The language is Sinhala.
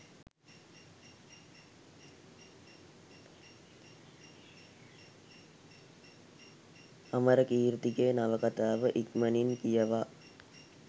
අමරකීර්තිගේ නවකතාව ඉක්මනින් කියවා